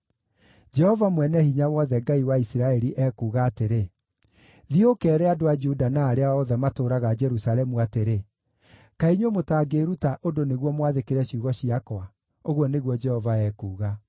“Jehova Mwene-Hinya-Wothe, Ngai wa Isiraeli, ekuuga atĩrĩ: Thiĩ ũkeere andũ a Juda na arĩa othe matũũraga Jerusalemu atĩrĩ: ‘Kaĩ inyuĩ mũtangĩĩruta ũndũ nĩguo mwathĩkĩre ciugo ciakwa?’ ũguo nĩguo Jehova ekuuga.